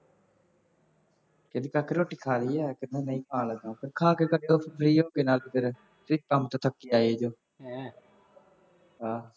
ਕਹਿੰਦੀ ਕਾਕਾ ਰੋਟੀ ਖਾ ਲਈ ਹੈ, ਕਹਿੰਦਾ ਨਹੀਂ ਖਾ ਲੈਂਦਾ, ਫੇਰ ਖਾ ਕੇ ਕੱਟੋ free ਹੋ ਕੇ ਨਾਲ ਮੇਰੇ, ਮੈਂ ਕੰਮ ਤੋਂ ਥੱਕੀ ਆਈ ਹਾਂ ਹਾਂ